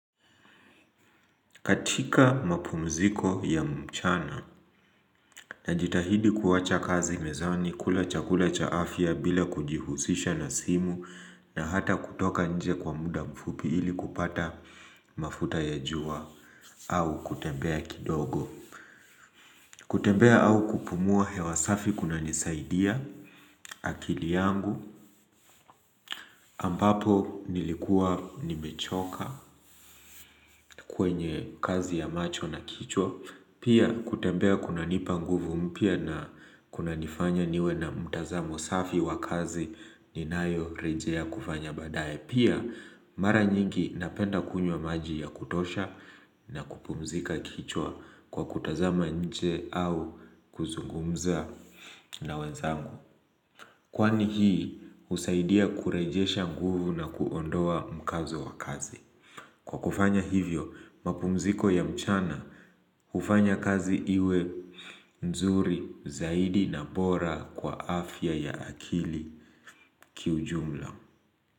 Katika mapumziko ya mchana, najitahidi kuwacha kazi mezani, kula chakula cha afya bila kujihusisha na simu na hata kutoka nje kwa muda mfupi ili kupata mafuta ya jua au kutembea kidogo. Kutembea au kupumua hewa safi kunanisaidia akili yangu ambapo nilikuwa nimechoka kwenye kazi ya macho na kichwa Pia kutembea kunanipa nguvu mpya na kunanifanya niwe na mtazamo safi wa kazi ninayo rejea kufanya badaye. Pia, mara nyingi napenda kunywa maji ya kutosha na kupumzika kichwa kwa kutazama nje au kuzungumza na wenzangu. Kwani hii, husaidia kurejesha nguvu na kuondoa mkazo wa kazi. Kwa kufanya hivyo, mapumziko ya mchana, hufanya kazi iwe, nzuri, zaidi na bora kwa afya ya akili kiujumla.